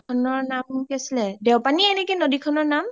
নদী খনৰ নাম কি আছিলে? দেওপানিয়ে নেকি নদী খনৰ নাম